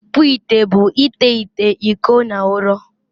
ịkpụ ite bụ ite ite, iko na ụrọ